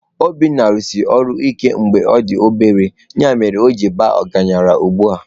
Obinna rụsiri ọrụ ike mgbe ọ dị obere, ya mere o ji baa ọgaranya ugbu a.